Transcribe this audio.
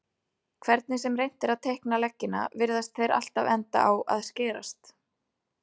Hvernig sem reynt er að teikna leggina virðast þeir alltaf enda á að skerast.